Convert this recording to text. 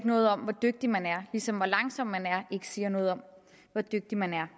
noget om hvor dygtig man er ligesom hvor langsom man er ikke siger noget om hvor dygtig man er